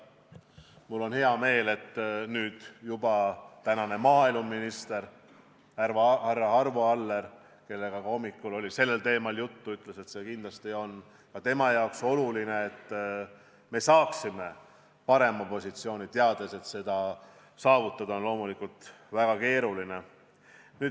Mul on hea meel, et nüüd juba maaeluminister Arvo Aller, kellega hommikul oli sellel teemal juttu, ütles, et see on kindlasti talle oluline, et me saaksime parema positsiooni, teades, et seda saavutada on loomulikult väga keeruline.